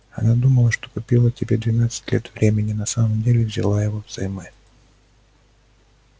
она думала что купила тебе двенадцать лет времени но на самом деле взяла его взаймы